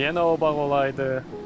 Yenə o bağ olaydı.